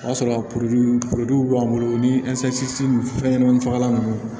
O y'a sɔrɔ a b'an bolo o ni fɛnɲɛnɛmani fagalan ninnu